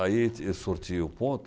Aí ele ti ele sortia o ponto.